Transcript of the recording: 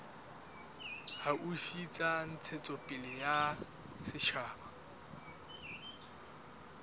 haufi tsa ntshetsopele ya setjhaba